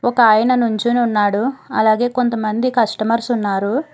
ఒకాయన నుంచుని ఉన్నాడు అలాగే కొంతమంది కస్టమర్స్ ఉన్నారు.